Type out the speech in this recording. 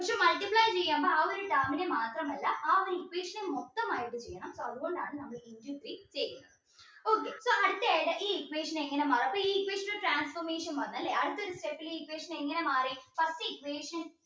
multiply ചെയ്യുമ്പോ ആ ഒരു term നെ മാത്രമല്ല ആ ഒരു equation നെ മൊത്തം ആയിട്ട് ചെയ്യണം so അതുകൊണ്ടാണ് നമ്മൾ into three ചെയ്യുന്നത് okay so അടുത്ത ഈ equation നെ എങ്ങനാ അപ്പോ ഈ equation ഒരു transformation വന്നല്ലേ അടുത്ത ഒരു step ല് ഈ equation എങ്ങനെ മാറി first equation